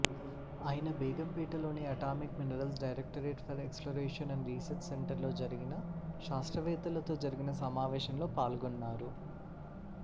ఆయన బేగంపేటలోని atomic minerals directorate for exploration and research సెంటర్లో జరిగిన శాస్త్రవేత్తలతో జరిగిన సమావేశంలో పాల్గొన్నారు